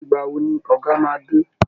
Ìgbà wo ni Ọ̀gá máa dé!